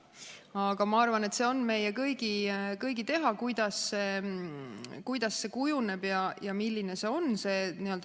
Aga ma arvan, et see on meie kõigi teha, kuidas see juhitav võimsus kujuneb ja milline see on.